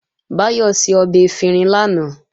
Báyọ̀ ṣe ọbẹ̀ efinrin lánàá